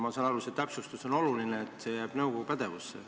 Ma saan aru, et see täpsustus on oluline ja et see jääb nõukogu pädevusse.